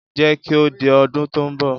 Jẹ́ kí ó di ọdún tó ń bọ̀.